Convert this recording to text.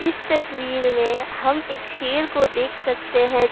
इस तस्वीर में हम एक शेर को देख सकते है।